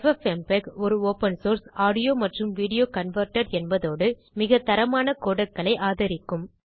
FFmpeg ஒரு open source audio மற்றும் video converter என்பதோடு மிகத்தரமான codecsகளை ஆதரிக்கும்